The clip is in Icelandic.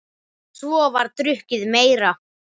Svo var drukkið meira.